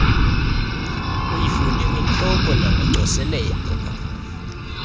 uyifunde ngentloko nangocoselelo